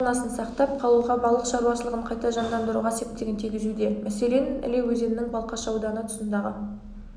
фаунасын сақтап қалуға балық шаруашылығын қайта жандандыруға септігін тигізуде мәселен іле өзенінің балқаш ауданы тұсындағы